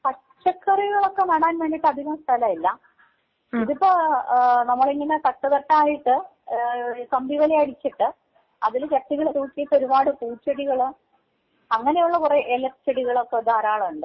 പച്ചക്കറികളൊക്കെ നടാൻ വേണ്ടിയിട്ട് അധികം സ്ഥലം ഇല്ല ഇതിപ്പെ ഏഹ് നമ്മളിങ്ങനെ തട്ട് തട്ടായിട്ട് ഏഹ് കമ്പിവേലി അടിച്ചിട്ട് അതില് ചട്ടികള് തൂക്കിയിട്ട് ഒരുപാട് പൂച്ചെടികള് അങ്ങനെയുള്ള കുറേ ഇലച്ചെടികളൊക്കെ ധാരളം ഉണ്ട്.